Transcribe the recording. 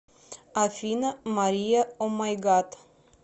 афина мария омайгад